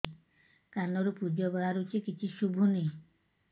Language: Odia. କାନରୁ ପୂଜ ବାହାରୁଛି କିଛି ଶୁଭୁନି